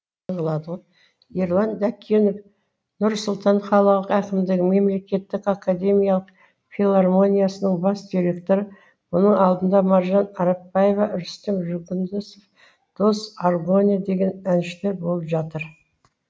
ерлан дәкенов нұр сұлтан қалалық әкімдігі мемлекеттік академиялық филармониясының бас директоры мұның алдында маржан арапбаева рүстем жүгінісов дос аргония деген әншілер болып жатыр